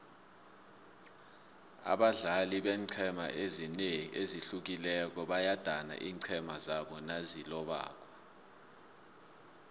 abadlali beenqhema ezihlukileko bayadana iinqhema zabo nazilobako